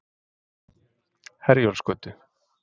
Herjólfsgötu